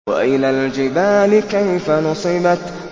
وَإِلَى الْجِبَالِ كَيْفَ نُصِبَتْ